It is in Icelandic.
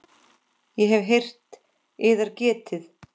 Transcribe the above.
Ég hef heyrt yðar getið.